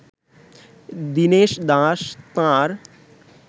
দিনেশ দাস তাঁর